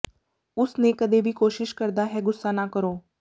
ਉਸ ਨੇ ਕਦੇ ਵੀ ਕੋਸ਼ਿਸ਼ ਕਰਦਾ ਹੈ ਗੁੱਸਾ ਨਾ ਕਰੋ